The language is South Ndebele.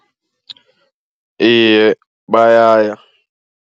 Iye, bayaya.